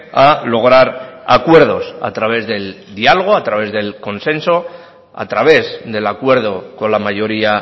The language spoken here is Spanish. a lograr acuerdos a través del diálogo a través del consenso a través del acuerdo con la mayoría